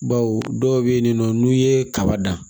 Baw dɔw bɛ yen nɔ n'u ye kaba dan